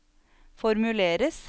formuleres